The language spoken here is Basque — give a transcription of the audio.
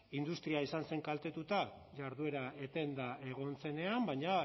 industria izan zen kaltetuta jarduera etenda egon zenean baina